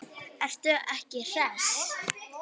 Ertu ekki hress?